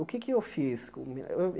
O que é que eu fiz?